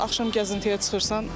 Axşam gəzintiyə çıxırsan.